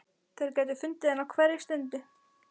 Þeir gætu fundið hana á hverri stundu.